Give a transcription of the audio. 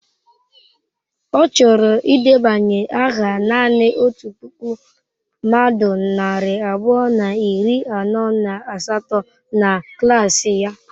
Ọ chọrọ ịdebanye aha naanị otu puku mmadụ narị abụọ na iri anọ na asatọ na klaasị ya?